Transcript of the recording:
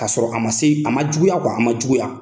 Ka sɔrɔ a man se a man juguya a man juguya.